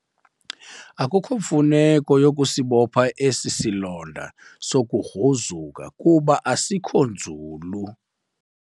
Akukho mfuneko yokusibopha esi silonda sokugruzuka kuba asikho nzulu.